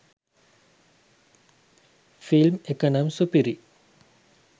Film එක නම් සුපිරි.